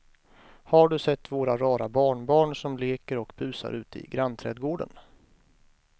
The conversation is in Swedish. Har du sett våra rara barnbarn som leker och busar ute i grannträdgården!